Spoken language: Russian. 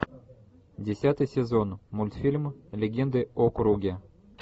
десятый сезон мультфильм легенды о круге